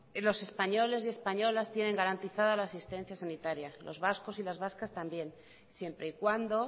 los españoles y españolas tienen garantizada la asistencia sanitaria los vascos y las vascas también siempre y cuando